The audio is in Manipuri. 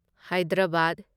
ꯍꯥꯢꯗꯔꯥꯕꯥꯗ